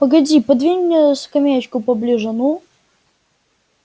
погоди подвинь мне скамеечку поближе ну